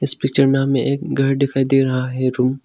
picture में हमे एक घर दिखाई दे रहा है रूम --